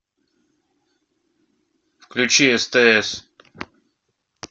включи стс